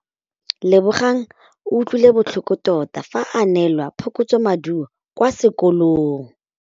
Lebogang o utlwile botlhoko tota fa a neelwa phokotsômaduô kwa sekolong.